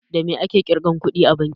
Da me ake ƙirga kuɗi a banki?